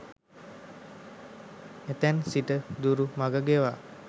එතැන් සිට දුරු මඟ ගෙවා